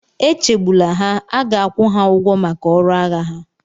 Echegbula ha, a ga-akwụ ha ụgwọ maka ọrụ agha ha.